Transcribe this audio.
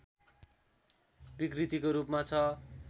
विकृतिको रूपमा छ